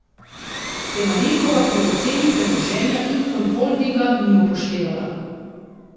Te Marinkova pri oceni premoženja Infond Holdinga ni upoštevala.